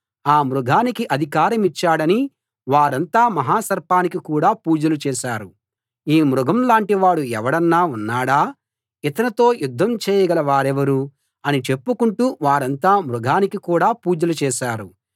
ఆ మృగానికి అధికారమిచ్చాడని వారంతా మహాసర్పానికి కూడా పూజలు చేశారు ఈ మృగంలాంటి వాడు ఎవడన్నా ఉన్నాడా ఇతనితో యుద్ధం చేయగల వారెవరు అని చెప్పుకుంటూ వారంతా మృగానికి కూడా పూజలు చేశారు